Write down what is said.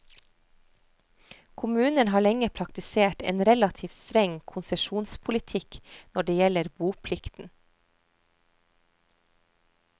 Kommunen har lenge praktisert en relativt streng konsesjonspolitikk når det gjelder boplikten.